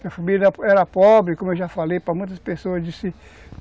Minha família era era pobre, como eu já falei para muitas pessoas, disse